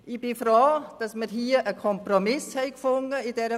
Ich bin froh, dass wir in dieser Frage einen Kompromiss gefunden haben.